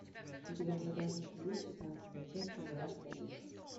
у тебя в загашнике есть шестнадцатая часть пожирателя душ